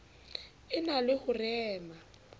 e na le ho rema